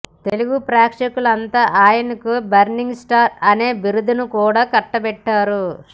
తెలుగు ప్రేక్షకులంతా ఆయనకు burning star అనే బిరుదును కూడా కట్టబెట్టారు